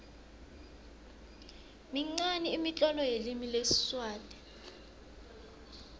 minqani imitlolo yelimi lesiswati